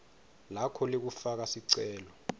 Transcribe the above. lakho lekufaka sicelo